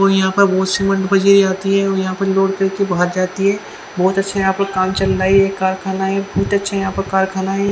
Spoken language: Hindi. और यहाँ पे वाश आती हैं और यहाँ पर लोड कर के भाग जाती हैं बहुत आच्छे यहाँ पर काम चल रहा हैं ये कारखाना हैं बहुत अच्छा यहाँ पर कारखाना हैं।